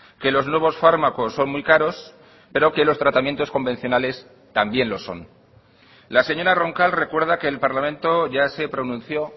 que los nuevos fármacos son muy caros pero que los tratamientos convencionales también lo son la señora roncal recuerda que el parlamento ya se pronunció